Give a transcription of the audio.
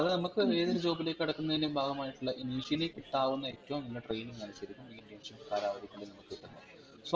അത്നമ്മക് ഏതൊരു Job ലേക് കടക്കുന്നതിനു ഭാഗമായിട്ട്ള്ള initially കിട്ടാവുന്ന ഏറ്റവും നല്ല training ആണ് ശരിക്കും ഈ internship കാലാവധിക്കുള്ളിൽ നമ്മക് കിട്ടുന്നത്